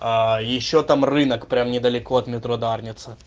ещё там рынок прямо недалеко от метро дарница